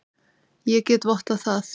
Ég get vottað það.